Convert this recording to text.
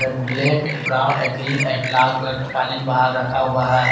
एक ब्लैक एक ब्राउन एक ग्रीन एक लाल कलर का कालीन बाहर रखा हुआ है।